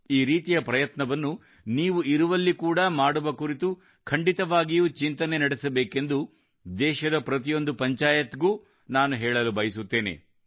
ಈ ರೀತಿಯ ಪ್ರಯತ್ನವನ್ನು ನೀವಿರುವಲ್ಲಿ ಕೂಡಾ ಮಾಡುವ ಕುರಿತು ಖಂಡಿತವಾಗಿಯೂ ಚಿಂತನೆ ನಡೆಸಬೇಕೆಂದು ದೇಶದ ಪ್ರತಿಯೊಂದು ಪಂಚಾಯಿತ್ ಗೂ ನಾನು ಹೇಳಲು ಬಯಸುತ್ತೇನೆ